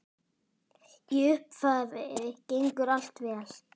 Í upphafi gengur allt vel.